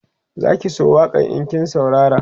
Zaki so waƙan in kin saurara